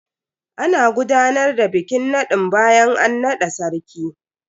Ana gudanar da bikin nadin bayan an nada sarki.